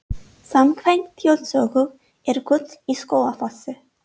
Samkvæmt þjóðsögu er gull í Skógafossi.